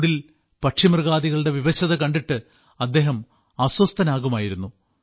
ചൂടിൽ പക്ഷിമൃഗാദികളുടെ വിവശത കണ്ടിട്ട് അദ്ദേഹം അസ്വസ്ഥനാകുമായിരുന്നു